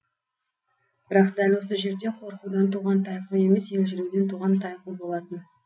бірақ дәл осы жерде қорқудан туған тайқу емес елжіреуден туған тайқу болатын